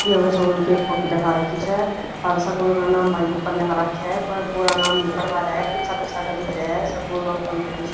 या भई स्कूल की एक फोटू दिखा राखी सअर स्कूल का नाम भई ऊपर लिख राख्या ह पर पूरा नाम नी पढ़ पा रया ह पीछह पीछह का दिख रया ह स्कूल ऑफ कंपीटिशन --